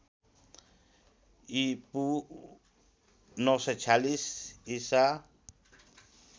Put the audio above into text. ईपू ९४६ ईसा